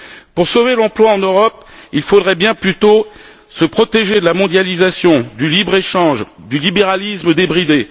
Pour sauver l'emploi en Europe, il faudrait plutôt se protéger de la mondialisation, du libre échange, du libéralisme débridé